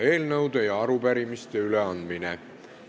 Eelnõude ja arupärimiste üleandmine.